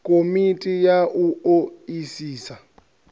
komiti ya u o isisa